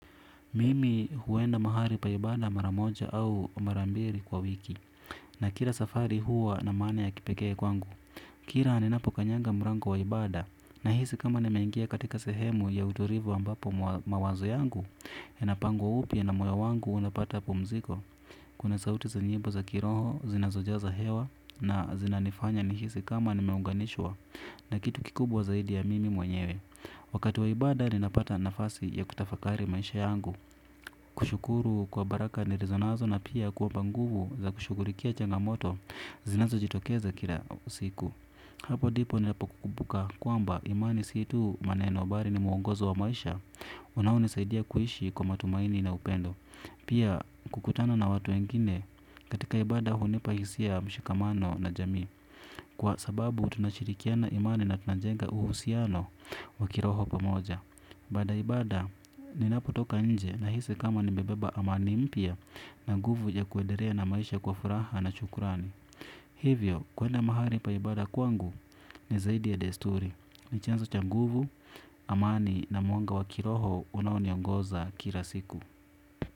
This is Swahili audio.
Mimi huenda mahali pa ibada mara moja au mara mbili kwa wiki. Na kila safari huwa na maana ya kipekee kwangu. Kila ninapo kanyanga mlango wa ibada. Nahisi kama nimeingia katika sehemu ya utulivu ambapo mawazo yangu. Inapangwa upya na moyo wangu unapata pumziko. Kuna sauti za nyimbo za kiroho, zinazojaza hewa. Na zinanifanya nihisi kama nimeunganishwa na kitu kikubwa zaidi ya mimi mwenyewe. Wakati wa ibada ninapata nafasi ya kutafakari maisha yangu. Kushukuru kwa baraka nilizo nazo na pia kuomba nguvu za kushughulikia changamoto zinazojitokeza kila siku. Hapo ndipo ninapokumbuka kwamba imani si tu maneno, bali ni mwongozo wa maisha. Unaonisaidia kuishi kwa matumaini na upendo. Pia kukutana na watu wengine katika ibada hunipa hisia ya mshikamano na jamii. Kwa sababu tunashirikiana imani na tunajenga uhusiano wa kiroho pamoja. Baada ya ibada, ninapotoka nje nahisi kama nimebeba amani mpya na nguvu ya kuendelea na maisha kwa furaha na shukurani. Hivyo, kuenda mahali pa ibada kwangu ni zaidi ya desturi. Ni chanzo cha nguvu, amani na mwanga wa kiroho unaoniongoza kila siku.